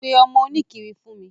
Pe ọmọ oníkiri fún mi.